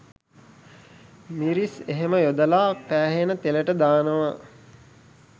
මිරිස් එහෙම යොදලා පැහෙන තෙලට දානව